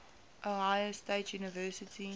ohio state university